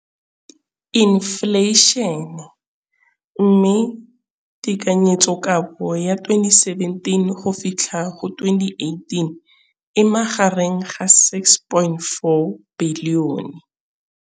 Infleišene, mme tekanyetsokabo ya 2017, 18, e magareng ga R6.4 bilione.